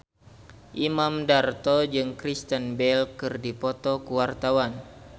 Imam Darto jeung Kristen Bell keur dipoto ku wartawan